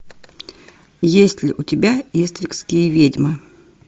есть ли у тебя истринские ведьмы